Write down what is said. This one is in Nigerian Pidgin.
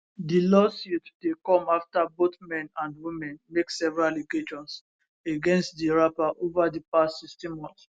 di lawsuit dey come afta both men and women make several allegations against di rapper ova di past 16 months